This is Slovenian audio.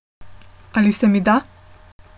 Ali se mi da?